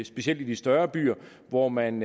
specielt i de større byer hvor man